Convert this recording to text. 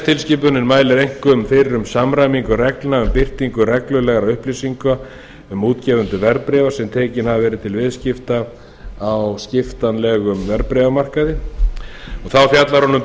gegnsæistilskipunin mælir einkum fyrir um samræmingu reglna um birtingu reglulegra upplýsinga um útgefendur verðbréfa sem tekin hafa verið til viðskipta á skiptanlegum verðbréfamarkaði þá fjallar hún um